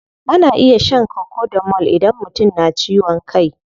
Ana iya shan cocodamol idan mutum na ciwon kai.